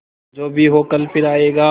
जो भी हो कल फिर आएगा